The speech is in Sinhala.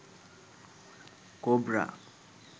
cobra